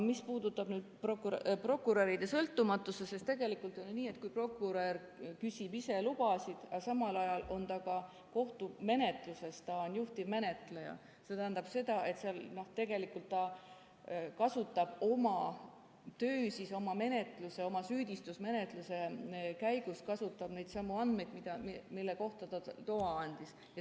Mis puudutab prokuröride sõltumatust, siis tegelikult on nii, et kui prokurör küsib ise lubasid ja samal ajal on ta ka kohtumenetluses, ta on juhtivmenetleja, siis see tähendab seda, et tegelikult ta kasutab oma töö, oma süüdistusmenetluse käigus neidsamu andmeid, mille kohta ta loa andis.